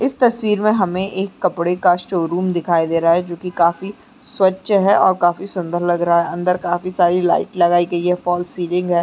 इस तस्वीर में हमें एक कपड़े का शोरूम दिखाई दे रहा है जोकि काफी स्वच्छ है और काफी सुंदर लग रहा है अंदर काफी सारी लाइट लगाई गई है फॉल सीलिंग है ।